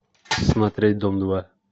смотреть дом два